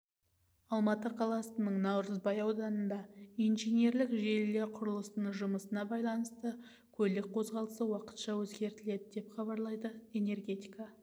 алматы қаласының наурызбай ауданында инженерлік желілер құрылысының жұмысына байланысты көлік қозғалысы уақытша өзгертіледі деп хабарлайды энергетика